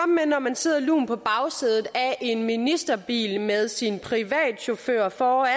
med når man sidder lunt på bagsædet af en ministerbil med sin privatchauffør foran